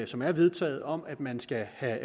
som er vedtaget om at man skal have